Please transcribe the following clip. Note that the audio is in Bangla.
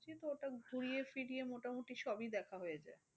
তো ওটা ঘুরিয়ে ফিরিয়ে মোটামুটি সবই দেখা হয়ে যায়।